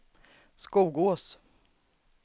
Skogås